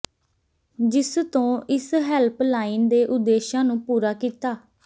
ਜਿਸ ਤੋਂ ਇਸ ਹੈਲਪ ਲਾਈਨ ਦੇ ਉਦੇਸ਼ਾਂ ਨੂੰ ਪੂਰਾ ਕੀਤਾ